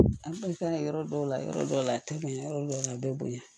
An balikana yɔrɔ dɔw la yɔrɔ dɔw la a tɛ bonya yɔrɔ dɔw la a bɛ bonya